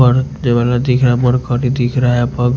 और यह वाला दिख रहा है दिख रहा है --